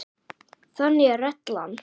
Þannig er reglan.